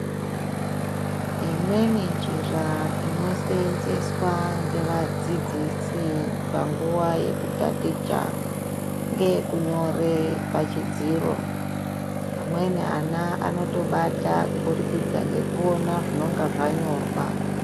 Imweni njira anoseenzeswa ngevadzidzisi panguva yekutaticha ngeyekunyore pachidziro. Amweni ana anotobata kuburikidza ngekuona zvinonga zvanyorwa.